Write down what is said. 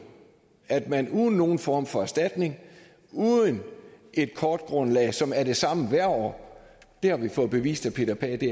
at man uden nogen form for erstatning uden et kortgrundlag som er det samme hvert år det har vi fået bevist af peter pagh at det